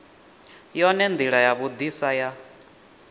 yone ndila ya vhudisa ya